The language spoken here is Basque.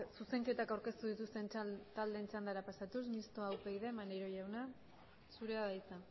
zuzenketak aurkeztu dituzten taldeen txandara pasatuz mistoa upyd maneiro jauna zurea da hitza